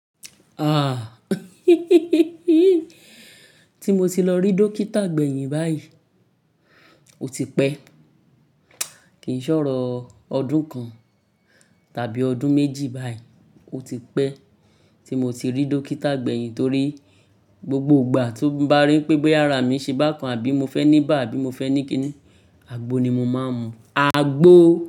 Ah tí mo ti lọ rí dókítà gbẹ̀yìn báyìí, ó ti pẹ́. Kì í ṣòro ọdún kan tàbí ọdún méjì báyìí, ó ti pẹ́ tí mo ti rí dókítà gbẹ̀yìn torí gbogbo ìgbà tó bá rí pé yàrá mi ṣe bá kan àbí mo fẹ́ ní bá àbí mo fẹ́ ní kíni, àgbo ni mo máa ń mu, àgbo.